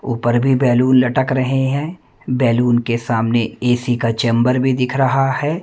ऊपर भी बैलून लटक रहे है बैलून के सामने ए_सी का चैंबर भी दिख रहा है।